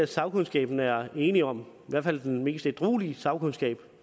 sagkundskaben er enig om i hvert fald den mest ædruelige sagkundskab